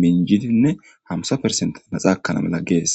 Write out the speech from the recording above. minjidinne hamsa persente naxaakkana mela gees.